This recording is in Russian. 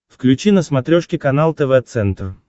включи на смотрешке канал тв центр